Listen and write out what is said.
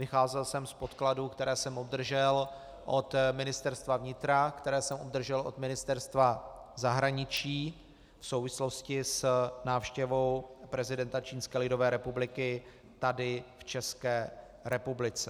Vycházel jsem z podkladů, které jsem obdržel od Ministerstva vnitra, které jsem obdržel od Ministerstva zahraničí v souvislosti s návštěvou prezidenta Čínské lidové republiky tady v České republice.